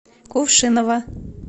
кувшиново